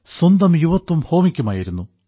സ്വന്തം യുവത്വം ഹോമിക്കുമായിരുന്നു